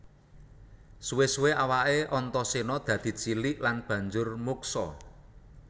Suwé suwé awaké Antaséna dadi cilik lan banjur muksa